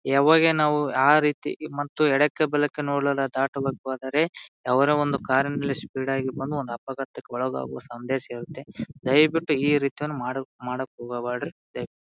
ಯಾವಾಗೆ ನಾವು ಆ ರೀತಿ ಮತ್ತು ಎಡಕ್ಕೆ ಬಲಕ್ಕೆ ನೋಡಲ್ಲ ದಾಟುವಾಗ ಹೋದರೆ ಅವ್ರ ಒಂದು ಕಾರಿನಲ್ಲಿ ಸ್ಪೀಡ್ ಆಗಿ ಬಂದ್ ಒಂದ್ ಅಪಘಾತಕ್ಕೆ ಒಳಗಾಗುವ ಸಂದೇಶ ಇರುತ್ತೆ. ದಯವಿಟ್ಟು ಈ ರೀತಿಯೊಂದು ಮಾಡು ಮಾಡಕ್ ಹೋಗ್ ಬ್ಯಾಡ್ರಿ ದೈ--